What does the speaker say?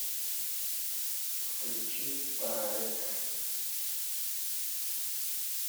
включи тарек